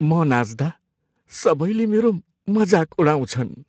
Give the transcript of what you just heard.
म नाच्दा सबैले मेरो मजाक उडाउँछन्।